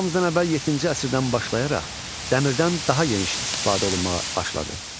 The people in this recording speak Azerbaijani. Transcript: Eramızdan əvvəl yeddinci əsrdən başlayaraq dəmirdən daha geniş istifadə olunmağa başladı.